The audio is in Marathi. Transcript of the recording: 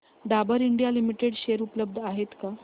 डाबर इंडिया लिमिटेड शेअर उपलब्ध आहेत का